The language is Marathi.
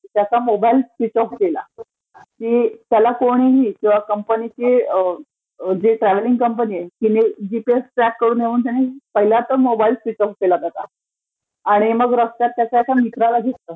त्याचा मोबाइल स्विच ऑफ केला, म्हणजे त्याला कोणी, जे ट्रव्हेलिंग कंपनीचे जी आहे तिने ट्रॅक करू नये म्हणून पहिले त्याने काय तर मोबाइल स्विच ऑप केला स्वतःचा,. मग त्याने रस्त्यात एका मित्राला घेतलं,